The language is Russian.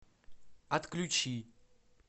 отключи